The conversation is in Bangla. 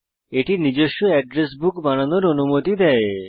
এটি নিজস্ব এড্রেস বুক বানানোর ও অনুমতি দেয়